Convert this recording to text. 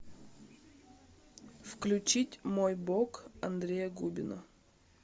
включить мой бог андрея губина